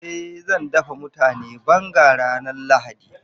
Eh zan dafa mutane banga ranar lahadi.